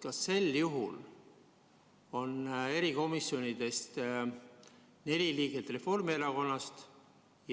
Kas sel juhul on erikomisjonides neli liiget Reformierakonnast